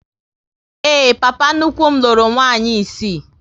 Ee, papa nnukwu m lụrụ nwaanyị isii